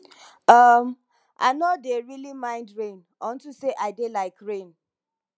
um i no dey really mind rain unto say i dey like rain